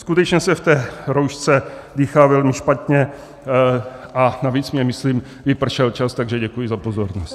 Skutečně se v té roušce dýchá velmi špatně, a navíc mi, myslím, vypršel čas, takže děkuji za pozornost.